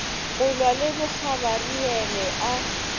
go lwa le bogabariele a